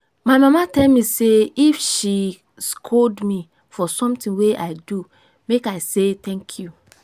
my mama tell me say if she scold me for something wey i do make i say thank you